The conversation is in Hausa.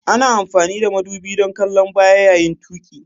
Ana amfani da madubi don kallon baya yayin tuƙi.